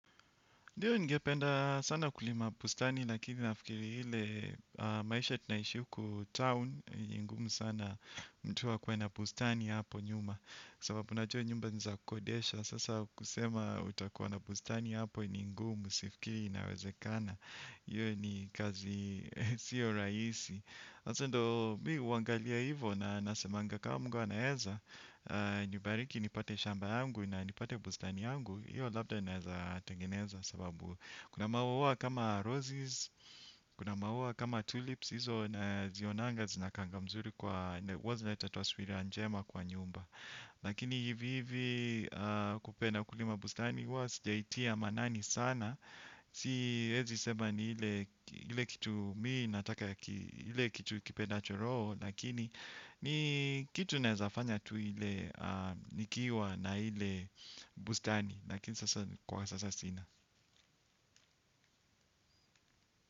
Ndio nigependa sana kulima bustani lakini nafikiri ile maisha tinaishi huku town. Ni ngumu sana mtu akuwe na bustani hapo nyuma. Sababu najua nyumba ni za kukodesha. Sasa kusema utakuwa na bustani hapo ni ngumu sifikiri inawezekana hiyo ni kazi sio rahisi sasa ndio mimi huangalia hivo na nasemanga kawa Mungu anaweza. Nibariki nipate shamba yangu na nipate bustani yangu hiyo labda ninaweza tengeneza sababu kuna maua kama roses. Kuna maua kama tulips hizo nazionanga zinakaanga mzuri kwa huwa zinaleta taswira njema kwa nyumba. Lakini hivi hivi kupenda kulima bustani huwa sijaitia maanani sana. Siwezi sema ni ile kitu mimi nataka. Ile kitu kipendacho roho. Lakini ni kitu naezafanya tu ile nikiwa na ile bustani lakini sasa kwa sasa sina.